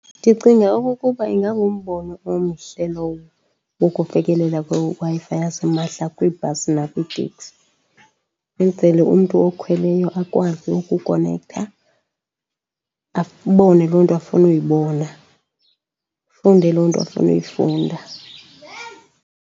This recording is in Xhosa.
Ndicinga okokuba ingangumbono omhle lowo wokufikelela kweWi-Fi yasimahla kwiibhasi nakwiiteksi. Benzele umntu okhweleyo akwazi ukukonektha abone loo nto afuna uyibona, afunde loo nto afuna uyifunda.